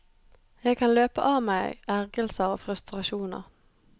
Jeg kan løpe av meg ergrelser og frustrasjoner.